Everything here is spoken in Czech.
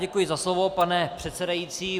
Děkuji za slovo, pane předsedající.